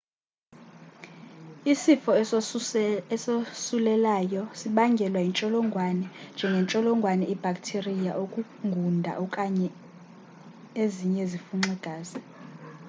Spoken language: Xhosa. isifo esosulelayo seso sibangelwa yintsholongwane njengentsholongwane ibhaktiriya ukungunda okanye ezinye izifunxi-gazi